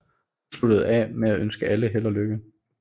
Hun sluttede af med at ønske alle held og lykke